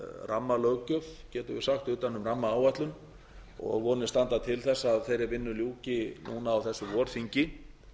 rammalöggjöf getum við sagt utan um rammaáætlun og vonir standa til þess að þeirri vinnu ljúki núna á þessu vorþingi